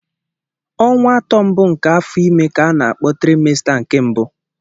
Ọnwa atọ mbụ nke afọ ime ka a na-akpọ trịmesta nke mbụ.